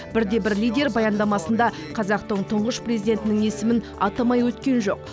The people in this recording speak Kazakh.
бірде бір лидер баяндамасында қазақтың тұңғыш президентінің есімін атамай өткен жоқ